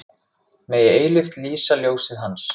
Megi eilíft lýsa ljósið Hans.